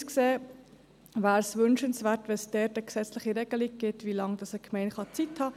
Aus unserer Sicht wäre es wünschenswert, dass es eine gesetzliche Regelung dazu gäbe, wie lange eine Gemeinde Zeit hat.